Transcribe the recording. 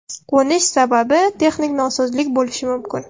Qo‘nish sababi – texnik nosozlik bo‘lishi mumkin.